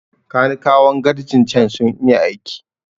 Kanikawan garrjin cen sun iya aiki